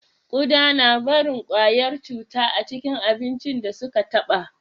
Ƙuda na barin kwayar cuta a kan abincin da su ka taɓa